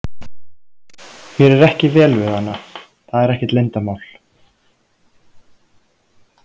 Mér er ekki vel við hana, það er ekkert leyndarmál.